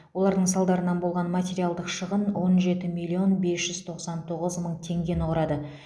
олардың салдарынан болған материалдық шығын он жеті миллион бес жүз тоқсан тоғыз мың тенгені құрады